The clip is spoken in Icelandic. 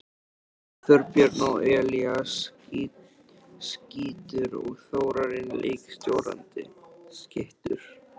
Þorbjörn og Elías skyttur og Þórarinn leikstjórnandi!